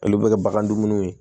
Olu bɛ kɛ bagan dumuniw ye